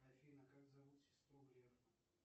афина как зовут сестру грефа